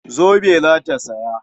Zobe za ta saya.